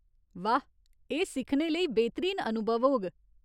वाह ! एह् सिक्खने लेई बेह्‌तरीन अनुभव होग।